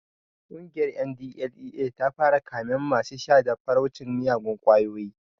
Ƙungiyar NDLEA ta fara kamen masu sha da fataucin miyagun ƙwayoyi